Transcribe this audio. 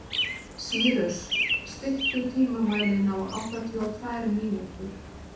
Sýrus, stilltu tímamælinn á áttatíu og tvær mínútur.